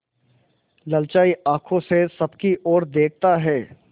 ललचाई आँखों से सबकी और देखता है